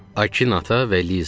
Akin ata və Liza.